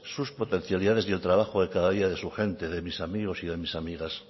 sus potencialidades y el trabajo de cada día de su gente de mis amigos y de mis amigas